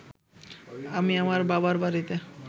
আমি আমার বাবার বাড়িতে